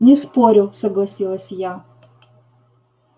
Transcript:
не спорю согласилась я